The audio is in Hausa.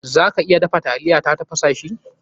Za ka iya dafa taliya ta tafasa shi.